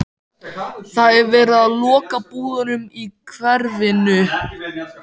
Það er verið að loka búðunum í hverfinu.